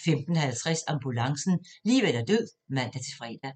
15:50: Ambulancen - liv eller død (man-fre)